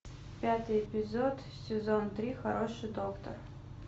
пятый эпизод сезон три хороший доктор